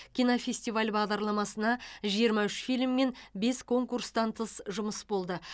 кинофестиваль бағдарламасына жиырма үш фильм мен бес конкурстан тыс жұмыс болды